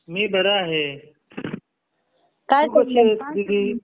मी बरा आहे तू कशी आहेस दीदी